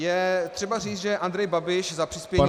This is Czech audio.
Je třeba říci, že Andrej Babiš za přispění -